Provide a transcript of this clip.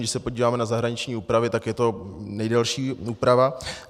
Když se podíváme na zahraniční úpravy, tak je to nejdelší úprava.